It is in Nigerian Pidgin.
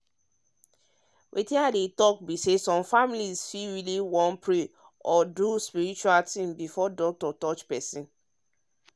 wetin i dey talk be say some families fit really wan pray or do spiritual things before doctor touch person.